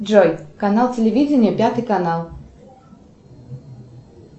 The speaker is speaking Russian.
джой канал телевидения пятый канал